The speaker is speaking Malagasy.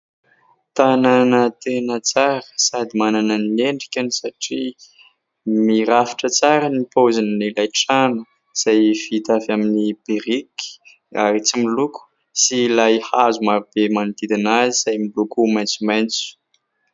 Tanana tena tsara sady manana ny endrikany satria mirafitra tsara ny paozin' ilay trano izay vita avy amin'ny biriky ary tsy miloko, sy ilay hazo marobe manodidina azy izay miloko maintsomaintso.